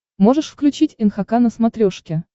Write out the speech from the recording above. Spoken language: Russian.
можешь включить нхк на смотрешке